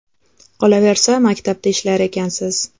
Qolaversa, maktabda ishlar ekansiz.